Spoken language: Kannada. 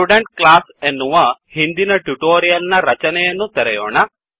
ಸ್ಟುಡೆಂಟ್ ಕ್ಲಾಸ್ ಎನ್ನುವ ಹಿಂದಿನ ಟ್ಯುಟೊರಿಯಲ್ ನ ರಚನೆಯನ್ನು ತೆರೆಯೋಣ